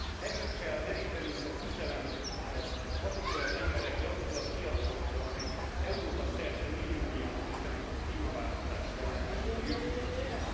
Erőt kell merítenünk a küzdelemhez azokból az emberekből, azokból a fiatalokból, akik Európa szerte milliónyian küzdenek a klímaváltozás ellen, a jövőjükért.